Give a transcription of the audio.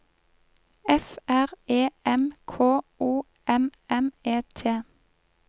F R E M K O M M E T